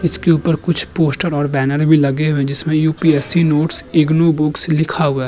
इसके ऊपर कुछ पोस्टर और बैनर भी लगे हुए हैं जिसमें यु.पी.एस.सी नोट्स इग्नू बुक लिखा हुआ है।